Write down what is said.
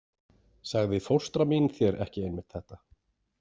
Sagði fóstra mín þér ekki einmitt þetta?